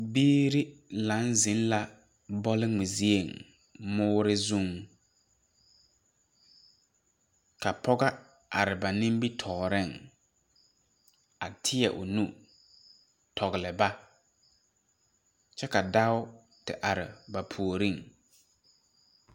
Biire laŋ zeŋ la bɔlgmɛ zieŋ mɔɔre zuŋ ka pɔgɔ are ba nimitooreŋ a teɛ o nu tɔgle ba kyɛ ka dao te are ba puoriŋ.